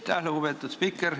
Aitäh, lugupeetud spiiker!